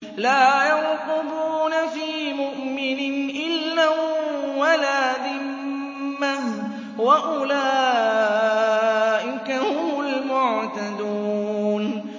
لَا يَرْقُبُونَ فِي مُؤْمِنٍ إِلًّا وَلَا ذِمَّةً ۚ وَأُولَٰئِكَ هُمُ الْمُعْتَدُونَ